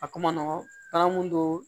A ko ma nɔgɔn ala m'o don